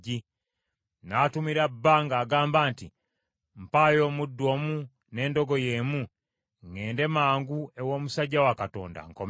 N’atumira bba ng’agamba nti, “Mpayo omuddu omu n’endogoyi emu ŋŋende mangu ew’omusajja wa Katonda, nkomewo.”